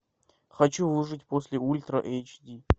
хочу выжить после ультра эйч ди